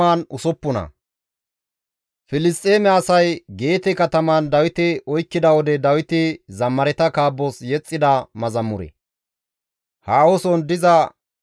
Abeet Xoossawu! Asay tana un7eththees; ta morkketi tana ubba wode yedeththeettes; hessa gishshas ne taas qadhetta.